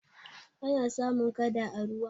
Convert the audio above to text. ana samun kada a ruwa